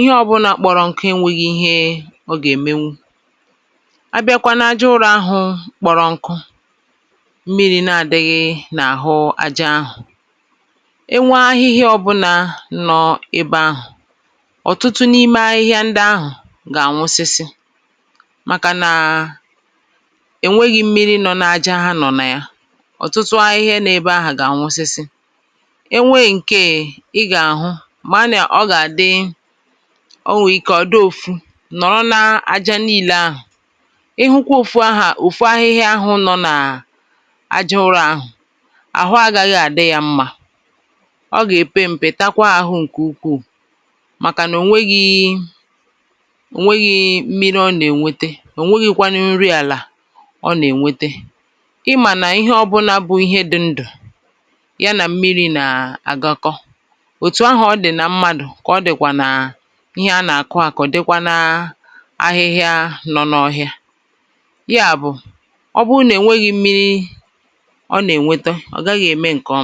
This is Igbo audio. ịhẹ ọbụna kpọrọ nkụ e nweghi ihẹ ị gà ẹ̀mẹnwụ. a bịakwa na aja ụrọ ahụ̄ kpọrọ nkụ, mmiri na adighi n’àhụ aja ahụ̀. e nwe ahịhịa ọbụnā nọ̄ ebe ahụ̀, ọ̀tụtụ n’ime ahịhịa ndị ahụ̀ gà ànwụsịsị, màkà nà è nweghī mmiri nọ na aja ha nọ̀ nà ya. ọ̀tụtụ ahịhịa nọ̄ n’ebe ahụ̀ gà ànwụsịsị. e nwe ǹkè ị gà àhụ, mà anà ọ gà àdị, ọ nwẹ̀ ike ọ di ofu, nọ̀rọ na aja nille ahụ̀, I hụkwa ahịhịa ahụ, ofu ahịhia ahụ̄ nọ nà aja ụrọ̄ ahụ̀, àhụ agaghị adi ya mmā. ọ gà èpe mpe, takwa ahụ ǹkè ukwù, màkà nà ò nweghi, ò nweghi mmiri ọ nà ènwete. ò nweghikwanụ nri àlà ọ nà ènwete. ịmànà ịhẹ ọbụnā bụ ịhẹ dị ndụ̀, y anà mmirī nà àgakọ, òtù ahụ̀ ọ dị̀ nà ịhẹ a nà àkụ akụ, dịkwa nà ahịhịa dị n’ọhịa. yà bụ̀, ọ bụ nà ọ nweghi mmirī ọ nà ènweta, ọ̀ gaghị ẹ̀mẹ ǹkè ọma.